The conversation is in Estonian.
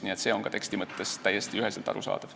Nii et see on teksti mõttes täiesti üheselt arusaadav.